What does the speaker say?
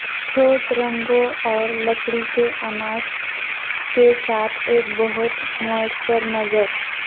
ٹھوس رنگوں اور لکڑی کے اناج کے ساتھ ایک بہت معاصر نظر